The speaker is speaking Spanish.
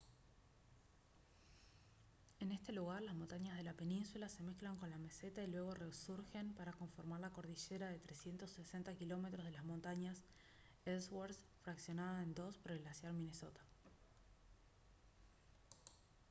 en este lugar las montañas de la península se mezclan con la meseta y luego resurgen para conformar la cordillera de 360 km de las montañas ellsworth fraccionada en dos por el glaciar minnesota